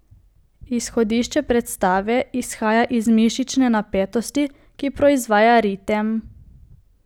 Izhodišče predstave izhaja iz mišične napetosti, ki proizvaja ritem.